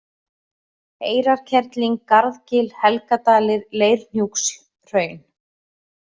Eyrarkerling, Garðgil, Helgadalir, Leirhnjúkshraun